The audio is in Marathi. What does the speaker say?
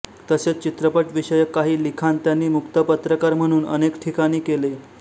तसेच चित्रपटविषयक काही लिखाण त्यांनी मुक्त पत्रकार म्हणून अनेक ठिकाणी केले